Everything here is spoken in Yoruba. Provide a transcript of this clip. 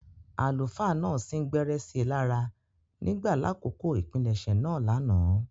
Àlùfáà náà sin-gbẹrẹ si lára ​​nígbà lakoko ipilẹsẹ̌ naa lánàá.